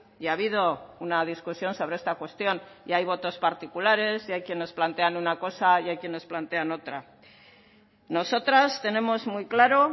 y ha habido una discusión sobre esta cuestión y hay votos particulares y hay quienes plantean una cosa y hay quienes plantean otra nosotras tenemos muy claro